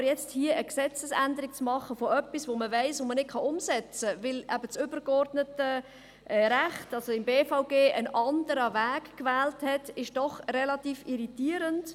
Aber nun hier eine Gesetzesänderung zu machen für etwas, von dem man weiss, dass man es nicht umsetzen kann, weil eben das übergeordnete Recht, also das Gesetz über die Bernische BVG- und Stiftungsaufsicht (BBSAG), einen anderen Weg gewählt hat, ist doch relativ irritierend.